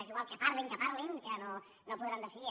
és igual que parlin que parlin que no podran decidir